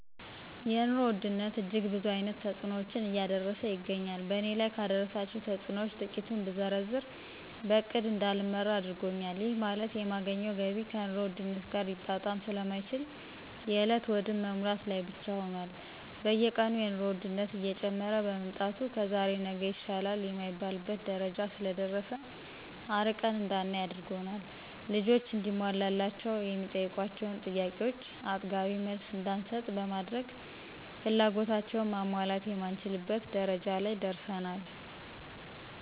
የኑሮ ውድነት እጅግ ብዙ አይነት ተጽኖዎችን እያደረሰ ይገኛል በእኔ ላይ ካደረሳቸው ተጽኖዎች ትቂቱን ብዘረዝር በእቅድ እዳልመራ አድርጎኛል ይህ ማለት የማገኘው ገቢ ከኑሮ ውድነት ጋር ሊጣጣም ስለማይችል የእለት ሆድን መሙላት ላይ ብቻ ሁኖል። በየቀኑ የኑሮ ወድነት እየጨመረ በመምጣቱ ከዛሬ ነገ ይሻላል የማይባልበት ደረጃ ስለደረሰ አርቀን እዳናይ አድርጓል። ልጆች እንዲሟላላቸው የሚጠይቋቸውን ጥያቄዎቾ አጥጋቢ መልስ እዳንሰጥ በማድረግ ፍላጎታቸውን ማሟላት የማንችልበት ደረጃ ላይ ደርሰናል።